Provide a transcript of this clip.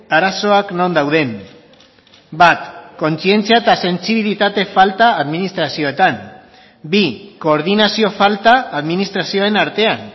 arazoak non dauden bat kontzientzia eta sentsibilitate falta administrazioetan bi koordinazio falta administrazioen artean